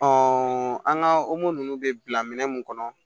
an ka ninnu bɛ bila minɛ mun kɔnɔ